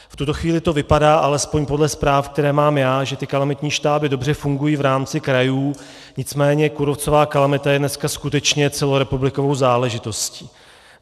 V tuto chvíli to vypadá, alespoň podle zpráv, které mám já, že ty kalamitní štáby dobře fungují v rámci krajů, nicméně kůrovcová kalamita je dneska skutečně celorepublikovou záležitostí.